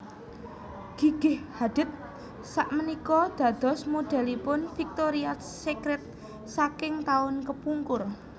Gigi Hadid sakmenika dados modelipun Victoria's Secret saking taun kepungkur